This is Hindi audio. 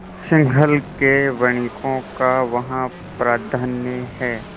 सिंहल के वणिकों का वहाँ प्राधान्य है